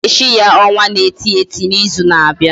Aga echi ya onwa na eti eti na izu na abia?